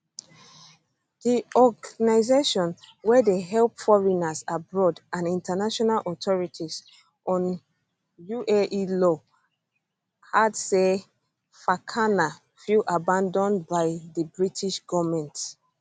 di organisation wey dey help foreigners abroad and international authority on uae law add say fakana feel abanAcceptedd by di british goment